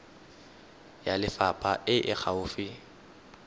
ya lefapha e e gaufi